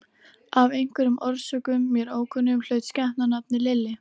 Af einhverjum orsökum, mér ókunnum, hlaut skepnan nafnið Lilli.